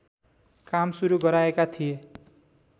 काम सुरू गराएका थिए